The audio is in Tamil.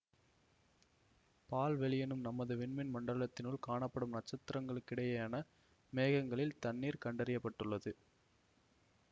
பால்வெளியெனும் நமது விண்மீன் மண்டலத்தினுள் காணப்படும் நட்சத்திரங்களுக்கிடையேயான மேகங்களில் தண்ணீர் கண்டறிய பட்டுள்ளது